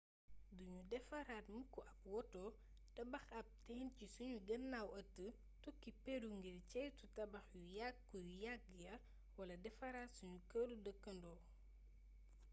du nu defaraat mukk ab woto tabax ab teen ci sunu gannaaw ëtt tukki peru ngir ceytu tabax yu yàkku yu yàgg ya wala defaraat suunu këru dëkkandoo